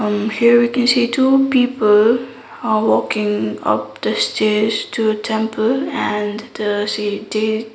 here we can see two people are walking up the stairs to the temple and the the --